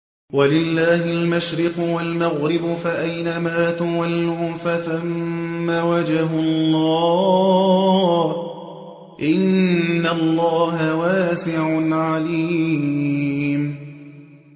وَلِلَّهِ الْمَشْرِقُ وَالْمَغْرِبُ ۚ فَأَيْنَمَا تُوَلُّوا فَثَمَّ وَجْهُ اللَّهِ ۚ إِنَّ اللَّهَ وَاسِعٌ عَلِيمٌ